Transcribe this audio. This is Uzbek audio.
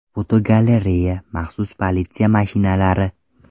Fotogalereya: Maxsus politsiya mashinalari.